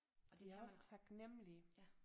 Og de er også taknemmelige